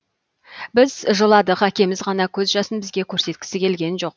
біз жыладық әкеміз ғана көз жасын бізге көрсеткісі келген жоқ